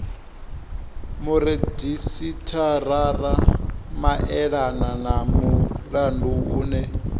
muredzhisitarara maelana na mulandu une